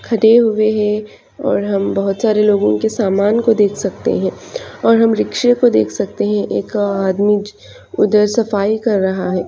खड़े हुए है और हम बहुत सारे लोगो के सामान को देख सकते है और हम रिक्शे को देख सकते है। एक आदमी ज उधर सफाई कर रहा है।